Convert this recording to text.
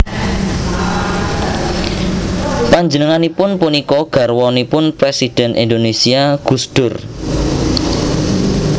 Panjenenganipun punika garwanipun Présidhèn Indonésia Gus Dur